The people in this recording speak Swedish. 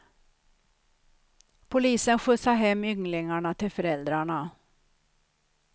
Polisen skjutsade hem ynglingarna till föräldrarna.